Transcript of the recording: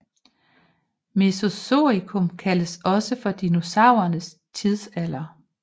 Mesozoikum kaldes også for dinosaurernes tidsalder